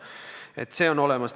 See variant on olemas.